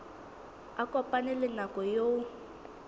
a kopane le nako eo